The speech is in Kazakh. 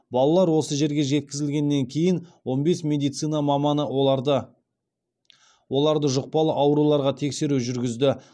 балалар осы жерге жеткізілгеннен кейін он бес медицина маманы оларды оларды жұқпалы ауруларға тексеру жүргізді